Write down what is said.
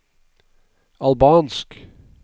albansk